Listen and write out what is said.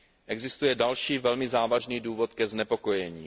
Existuje další velmi závažný důvod ke znepokojení.